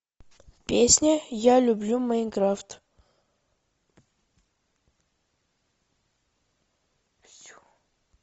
песня я люблю майнкрафт